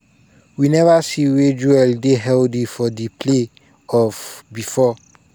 "we neva see wia joel dey healthy for di play-off bifor.